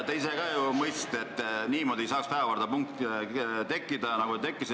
Te ise ka ju mõistsite, et niimoodi ei saa päevakorrapunkt tekkida, nagu ta tekkis.